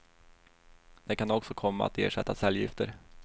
Det kan också komma att ersätta cellgifter.